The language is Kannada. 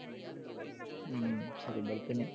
ಹ್ಮ್ ಸರಿ ಬರ್ತೀನಿ